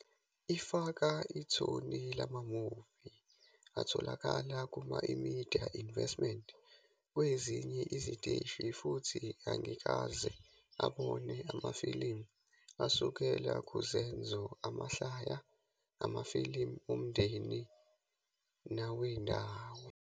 Ifaka ithoni lama-movie atholakala kuma-eMedia Investments kwezinye iziteshi futhi angikaze abone amafilimu asukela kuzenzo, amahlaya, amafilimu omndeni nawendawo.